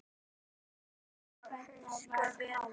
Hann bar æskuna vel.